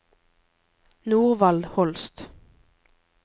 Norvald Holst